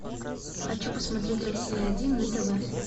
хочу посмотреть россия один на тв